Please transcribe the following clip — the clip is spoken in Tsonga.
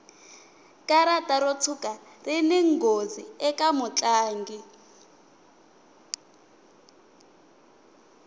karata ro tshuka rini nghozi eka mutlangi